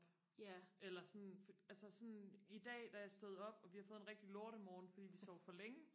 eller sådan altså sådan i dag da jeg stod op og vi har fået en rigtig lortemorgen fordi vi sov for længe